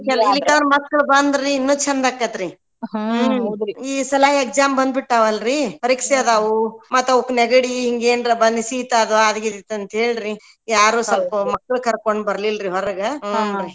ಇಲ್ಲಿಕ್ಕನ ಮಕ್ಕಳು ಬಂದ್ರ ಇನ್ನೂ ಚಂದಾಕೇತ ರ್ರೀ ಈ ಸಲ exam ಬಂದ್ಬಿಟ್ಟಾವ್ ಅಲ್ರೀ ಪರೀಕ್ಷೆ ಅದಾವು ಮತ್ ಅವಕ್ ನೆಗಡಿ ಹಿಂಗ್ ಏನರ ಬಂದ್ ಸೀತ ಅದು ಅದ್ಗೀದೀತ್ ಅಂತ್ಹೇಳ್ರಿ ಯಾರು ಸ್ವಲ್ಪ ಮಕ್ಳು ಕರ್ಕೊಂಡ ಬರ್ಲಿಲ್ರಿ ಹೊರಗ .